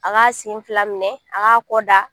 A b'a sen fila minɛ a b' a kɔ da.